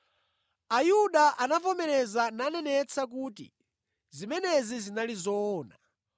Ayuda anavomereza nanenetsa kuti zimenezi zinali zoona.